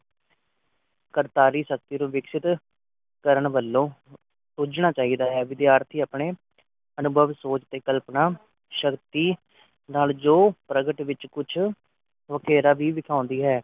ਕਰਤਾਰੀ ਸ਼ਕਤੀ ਨੂੰ ਵਿਕਸਿਤ ਕਰਨ ਵਲੋਂ ਪੁੱਜਣਾ ਚਾਹੀਦਾ ਹੈ ਵਿਦਿਆਰਥੀਆਂ ਆਪਣੇ ਅਨੁਭਵ ਸੋਚ ਤੇ ਕਲਪਨਾ ਸ਼ਕਤੀ ਨਾਲ ਜੋ ਪ੍ਰਗਟ ਵਿਚ ਕੁਝ ਘੇਰਾ ਵੀ ਦਿਖਾਉਂਦੀ ਹੈ